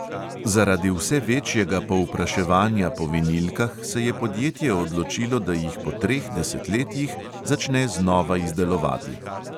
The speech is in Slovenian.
Zaradi vse večjega povpraševanja po vinilkah, se je podjetje odločilo, da jih po treh desetletjih začne znova izdelovati.